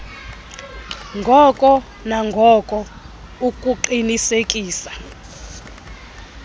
ngoko nangoko ukuqinisekisa